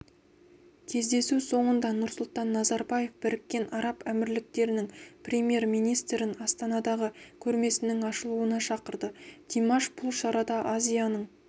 кездесу соңында нұрсұлтан назарбаев біріккен араб әмірліктерінің премьер-министрін астанадағы көрмесінің ашылуына шақырды димаш бұл шарада азияның